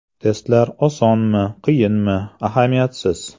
Testlar osonmi-qiyinmi, ahamiyatsiz.